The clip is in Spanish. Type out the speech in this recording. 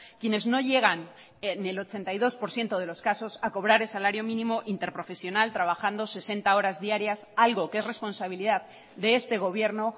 quienes no llegan en el ochenta y dos por ciento de los casos a cobrar el salario mínimo interprofesional trabajando sesenta horas diarias algo que es responsabilidad de este gobierno